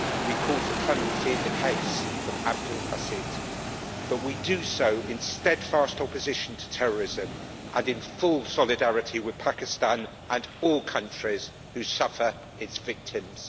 We call for clemency in the case of Abdul Basit, but we do so in steadfast opposition to terrorism and in full solidarity with Pakistan and all countries who suffer as its victims.